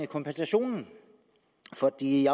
kompensationen for i